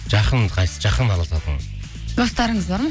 жақын қайсысы жақын араласатын достарыңыз бар ма